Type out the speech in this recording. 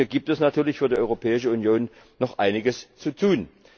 Da gibt es natürlich für die Europäische Union noch einiges zu tun.